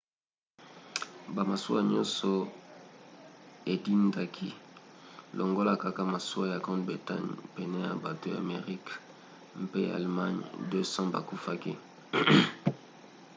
bamasuwa nyonso edindaki longola kaka masuwa ya grande bretagne. pene ya bato ya amerika mpe ya allemagne 200 bakufaki